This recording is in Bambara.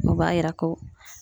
O b'a yira ko